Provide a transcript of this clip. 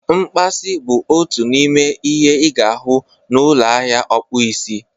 Mkpasi bụ otu n'ime ihe ị ga-ahụ na ụlọ ahịa ọkpụ isi